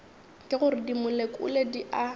ke gore dimolekule di a